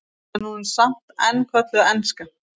en hún er samt enn kölluð enska